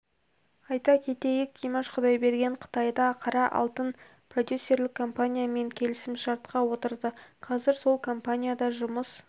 айта кетейік димаш құдайберген қытайда қара алтын атты продюсерлік компаниямен келісімшартқа отырды қазір сол компанияда жұмыс